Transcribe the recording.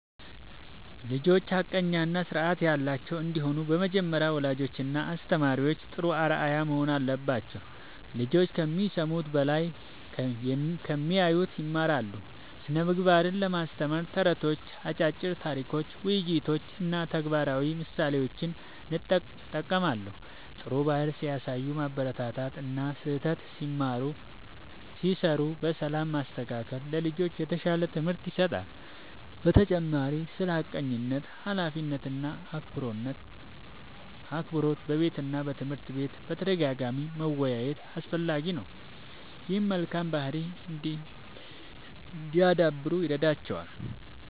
ልጆች ሐቀኛ እና ስርዓት ያላቸው እንዲሆኑ በመጀመሪያ ወላጆችና አስተማሪዎች ጥሩ አርአያ መሆን አለባቸው። ልጆች ከሚሰሙት በላይ ከሚያዩት ይማራሉ። ስነ ምግባርን ለማስተማር ተረቶች፣ አጫጭር ታሪኮች፣ ውይይቶች እና ተግባራዊ ምሳሌዎችን እጠቀማለሁ። ጥሩ ባህሪ ሲያሳዩ ማበረታታት እና ስህተት ሲሠሩ በሰላም ማስተካከል ለልጆች የተሻለ ትምህርት ይሰጣል። በተጨማሪም ስለ ሐቀኝነት፣ ኃላፊነት እና አክብሮት በቤትና በትምህርት ቤት በተደጋጋሚ መወያየት አስፈላጊ ነው። ይህም መልካም ባህሪ እንዲያዳብሩ ይረዳቸዋል።